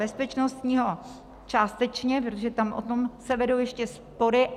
Bezpečnostního částečně, protože tam se o tom vedou ještě spory.